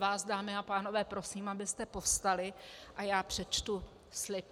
Vás, dámy a pánové prosím, abyste povstali, a já přečtu slib.